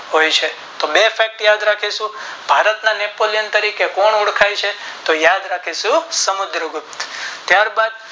હોય છે તો બે Fact યાદ રાખીશું ભારત ના નેપોલિયન તરીકે કોણ ઓળખાય છે ત યાદ રાખીશું સમુદ્ર ગુપ્ત ત્યાર બાદ